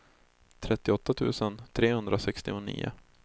trettioåtta tusen trehundrasextionio